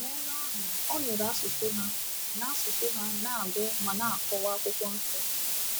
N’ebe ahụ, ọ nụrụ asụsụ ha, na asụsụ ha, na - agụ ma na-akọwa Akwụkwọ Nsọ.